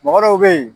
Mɔgɔ dɔw bɛ yen